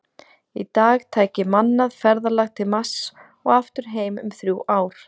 Í dag tæki mannað ferðalag til Mars og aftur heim um þrjú ár.